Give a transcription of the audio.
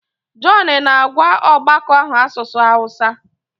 John na-agwa ọgbakọ ahụ asụsụ Hausa.